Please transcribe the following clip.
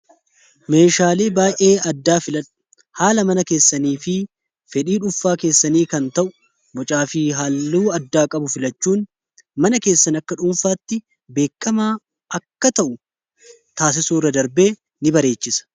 meeshaalee baa'ee addaa filadhu haala mana keessanii fi fedhii dhunfaa keessanii kan ta'u bocaa fi haaluu addaa qabu filachuun mana keessan akka dhuunfaatti beekkamaa akka ta'u taasisuu irra darbee in bareechisa